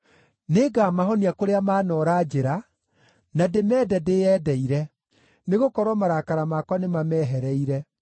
“Nĩngamahonia kũrĩa maanoora njĩra, na ndĩmende ndĩyendeire; nĩgũkorwo marakara makwa nĩmamehereire.